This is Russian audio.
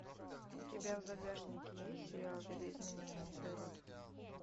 у тебя в загашнике есть сериал видоизмененный углерод